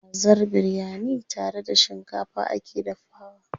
Kazar biryani tare da shikafa ake dafawa.